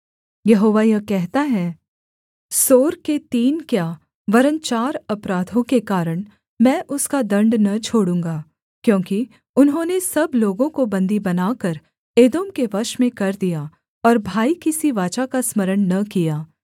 यहोवा यह कहता है सोर के तीन क्या वरन् चार अपराधों के कारण मैं उसका दण्ड न छोड़ूँगा क्योंकि उन्होंने सब लोगों को बन्दी बनाकर एदोम के वश में कर दिया और भाई की सी वाचा का स्मरण न किया